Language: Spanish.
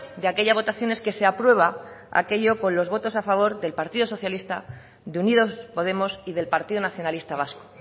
de aquella votación es que se aprueba aquello con lo votos a favor del partido socialista de unidos podemos y del partido nacionalista vasco